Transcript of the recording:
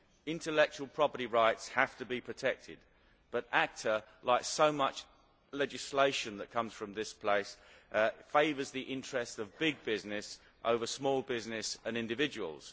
Intellectual property rights have to be protected but ACTA, like so much legislation that comes from this place, favours the interest of big business over small business and individuals.